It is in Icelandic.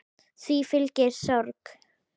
Því fylgi sorg.